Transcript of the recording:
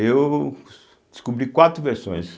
Eu descobri quatro versões.